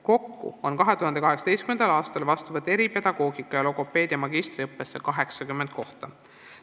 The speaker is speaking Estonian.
Kokku oli 2018. aastal seega vastuvõtt eripedagoogika ja logopeedi magistriõppesse 80 kohta.